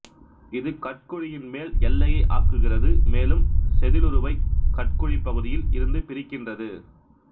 இது கட்குழியின் மேல் எல்லையை ஆக்குகிறது மேலும் செதிலுருவை கட்குழிப் பகுதியில் இருந்து பிரிக்கின்றது